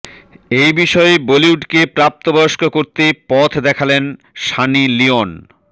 এই বিষয়ে বলিউডকে প্রাপ্তবয়স্ক করতে পথ দেখালেন সানি লিওন